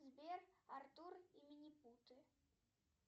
сбер артур и минипуты